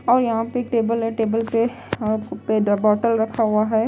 और यहां पे एक टेबल है टेबल पे बोतल रखा हुआ है।